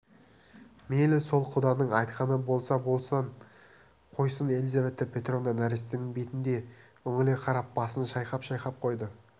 мейлі сол құданың айтқаны болса бола қойсын елизавета петровна нәрестенің бетіне үңіле қарап басын шайқап-шайқап қойды